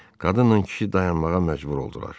Qadınla kişi dayanmağa məcbur oldular.